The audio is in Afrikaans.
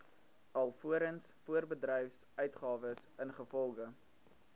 alvorens voorbedryfsuitgawes ingevolge